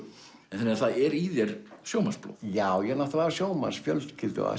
að það er í þér sjómannsblóð já ég er náttúrulega af sjómannsfjölskyldu af